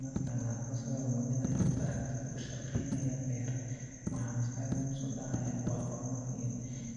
Marka aan arko sawir muujinaya tractor ku shaqaynaya beer, waxa maskaxdayda ku soo dhaca horumar iyo